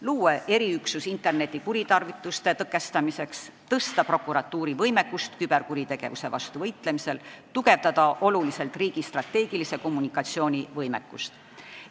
Luua tuleks eriüksus interneti kuritarvituste tõkestamiseks, suurendada prokuratuuri võimekust küberkuritegevuse vastu võitlemisel, tugevdada oluliselt riigi strateegilise kommunikatsiooni võimekust.